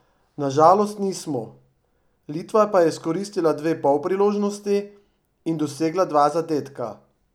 Na žalost nismo, Litva pa je izkoristila dve polpriložnosti in dosegla dva zadetka.